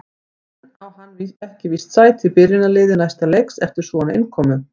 En á hann ekki víst sæti í byrjunarliði næsta leiks eftir svona innkomu?